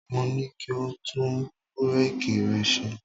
Mo ní kí o tún búréèkì rẹ ṣe.